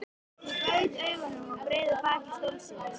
Ég gaut augum að breiðu baki stólsins.